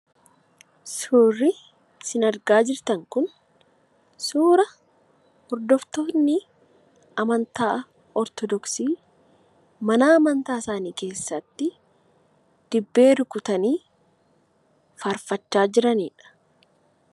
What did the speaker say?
Suurri sin argaa jirtan kun suura hordoftoonni amantaa ortodoksii mana amantaa isaanii keessatti dibbee rukutanii faarfachaa jiranidha.